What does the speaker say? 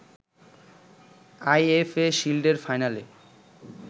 IFA শিল্ডের ফাইনালে